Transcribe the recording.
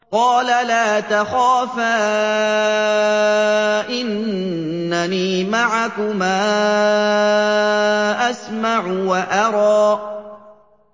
قَالَ لَا تَخَافَا ۖ إِنَّنِي مَعَكُمَا أَسْمَعُ وَأَرَىٰ